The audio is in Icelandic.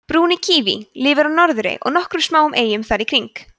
brúni kíví lifir á norðurey og nokkrum smáum eyjum þar í kring